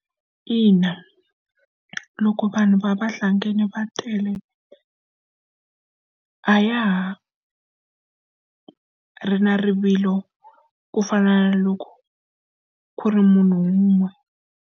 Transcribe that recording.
Ina, loko vanhu va vahlangana va tele a ya ha ri na rivilo ku fana na loko ku ri munhu wun'we.